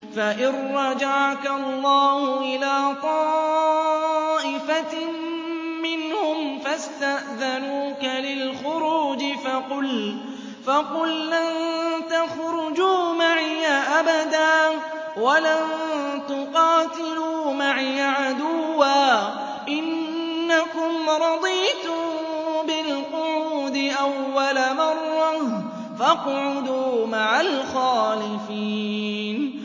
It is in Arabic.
فَإِن رَّجَعَكَ اللَّهُ إِلَىٰ طَائِفَةٍ مِّنْهُمْ فَاسْتَأْذَنُوكَ لِلْخُرُوجِ فَقُل لَّن تَخْرُجُوا مَعِيَ أَبَدًا وَلَن تُقَاتِلُوا مَعِيَ عَدُوًّا ۖ إِنَّكُمْ رَضِيتُم بِالْقُعُودِ أَوَّلَ مَرَّةٍ فَاقْعُدُوا مَعَ الْخَالِفِينَ